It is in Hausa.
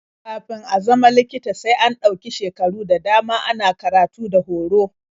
Kafin a zama likita sai an ɗau shekaru da dama ana karatu da horo.